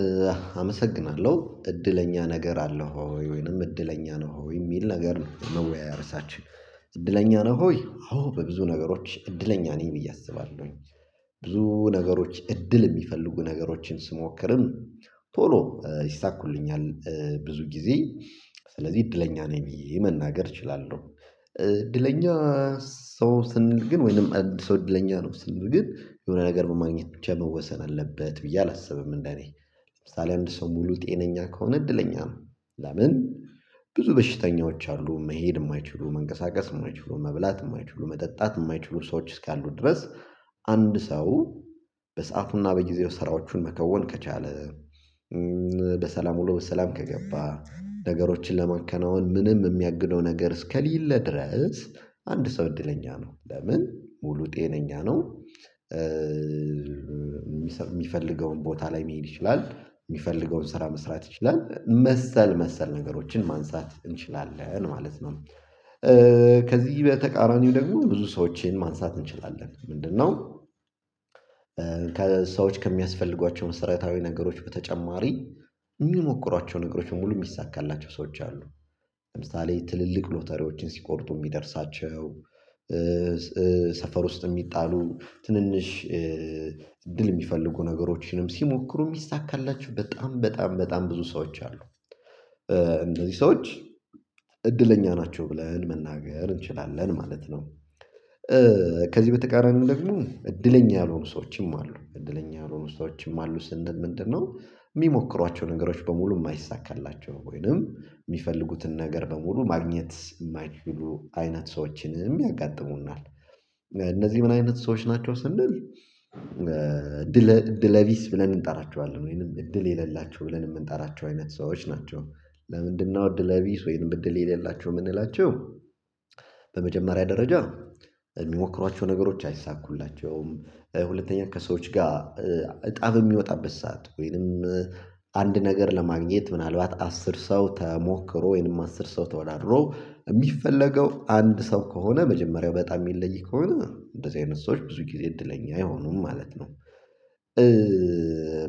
እዛ አመሰግናለሁ እድለኛ ነገር አለው ወይ ወይንም እድለኛ ነው ወይ የሚል ነገር ነው? መወያየር እሳችን እድለኛ ነው? ወይ አዎ በብዙ ነገሮች እድለኛ ነኝ ብዬ አስባለሁኝ። ብዙ ነገሮች እድል የሚፈልጉ ነገሮችን ስሞክርም። ቶሎ ይሳኩልኛል ብዙ ጊዜ ስለዚህ እድለኛ ነው የሚለው መናገር እችላለሁ። እድለኛ ሰው ስን ግን ወይንም አዲስ አይደለኝም ነው ስንል ግን የሆነ ነገር መማግኘት ብቻ መወሰን አለበት ብዬ አላስብም። እንደኔ ለምሳሌ አንድ ሰው ሙሉ ጤነኛ ከሆነ እድለኛ ነው። ለምን ብዙ በሽተኞች አሉ መሄድ የማይችሉ መንቀሳቀስ የማይችሉ መብላት የማይችሉ መጠጣት የማይችሉ ሰዎች እስካሉ ድረስ። አንድ ሰው በሰአቱና በጊዜው ስራዎቹን መከወን ከቻለ። በሰላም ወሎ በሰላም ከገባ ነገሮችን ለመከናወን ምንም የሚያግደው ነገር እስከሌለ ድረስ። አንድ ሰው እድለኛ ነው ለምን ሙሉ ጤነኛ ነው። የሚፈልገውን ቦታ ላይ መሄድ ይችላል የሚፈልገውን ስራ መስራት ይችላል መሰል መሰል ነገሮችን ማንሳት እንችላለን ማለት ነው። ከዚህ በተቃራኒው ደግሞ ብዙ ሰዎችን ማንሳት እንችላለን ምንድነው? ከሰዎች ከሚያስፈልጓቸው መሰረታዊ ነገሮች በተጨማሪ የሚሞክሯቸው ነገሮች ሙሉ የሚሳካላቸው ሰዎች አሉ። ለምሳሌ ትልልቅ ሎተሪዎችን ሲቆርጡ የሚደርሳቸው ሰፈር ውስጥ የሚጣሉ ትንንሽ እድል የሚፈልጉ ነገሮችንም ሲሞክሩ የሚሳካላችሁ በጣም በጣም በጣም ብዙ ሰዎች አሉ። እንደዚህ ሰዎች እድለኛ ናቸው ብለን መናገር እንችላለን ማለት ነው። ከዚህ በተቃራኒው ለፍኑ እድለኛ ያልሆኑ ሰዎችም አሉ እድለኛ ያልሆኑ ሰዎችም አሉ ምንድነው? የሚሞክሯቸው ነገሮች በሙሉ የማይሳካላቸው ወይንም የሚፈልጉትን ነገር በሙሉ ማግኘት የማይችሉ አይነት ሰዎችንም ያጋጥሙናል። እነዚህ ምን አይነት ሰዎች ናቸው ስንል እድለ እድለቢስ ብለን እንጠራቸዋለን ወይንም እድል የሌላቸው ብለን የምንጠራቸው አይነት ሰዎች ናቸው። ለምንድነው እድለቢስ ወይንም እድል የሌላቸው የምንላቸው? በመጀመሪያ ደረጃ የሚሞክሯቸው ነገሮች አይሳኩላቸውም። ሁለተኛ ከሰዎች ጋር ጣብ የሚወጣበት ሰዓት ወይንም አንድ ነገር ለማግኘት ምናልባት አስር ሰው ተሞክሮ ወይንም አስር ሰው ተወዳድሮ የሚፈለገው አንድ ሰው ከሆነ መጀመሪያው በጣም የሚለይ ከሆነ እንደዚህ አይነት ሰዎች ብዙ ጊዜ እድለኛ አይሆኑም ማለት ነው።